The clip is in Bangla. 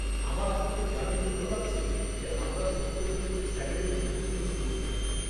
আমার আপনাকে জানিয়ে ভাল লাগছে যে আমরা সম্প্রতি একটি স্যানিটারি ভেন্ডিং মেশিন বসিয়েছি।